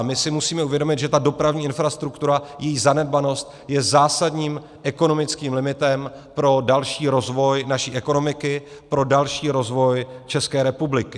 A my si musíme uvědomit, že ta dopravní infrastruktura, její zanedbanost je zásadním ekonomickým limitem pro další rozvoj naší ekonomiky, pro další rozvoj České republiky.